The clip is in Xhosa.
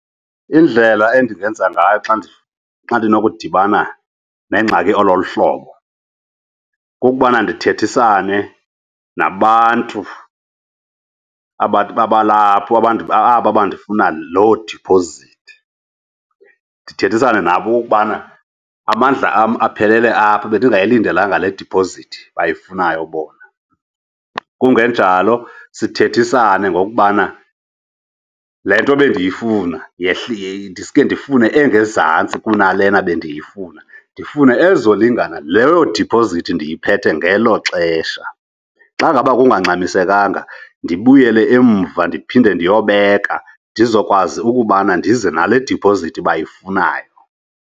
Indlela endingenza ngayo xa ndinokudibana nengxaki eloluhlobo, kukubana ndithethisane nabantu abathi babalapho aba bandifuna loo diphozithi. Ndithethisane nabo okokubana amandla am aphelele apho, bendingayilindelanga le diphozithi bayifunayo bona. Kungenjalo sithethisane ngokubana le nto bendiyifuna yehle, ndiske ndifumane engezantsi kunalena bendifuna, ndifune ezolingana leyo diphozithi ndiyiphethe ngelo xesha. Xa ngaba kungangxamisenkanga ndibuyele emva ndiphinde ndiyobeka, ndizokwazi ukubana ndize nale diphozithi bayifunayo.